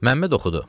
Məmməd oxudu.